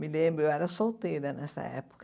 Me lembro, eu era solteira nessa época.